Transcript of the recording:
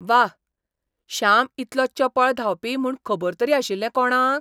वाह! श्याम इतलो चपळ धांवपी म्हूण खबर तरी आशिल्लें कोणाक?